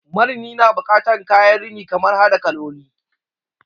Marini na bukatan kayan rini kamar hada kaloli